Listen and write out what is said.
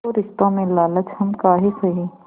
तो रिश्तों में लालच हम काहे सहे